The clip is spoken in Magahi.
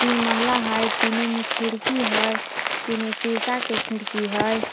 तीन महला हइ तीनों में खिड़की हइ तीनों शीशा के खिड़की हइ।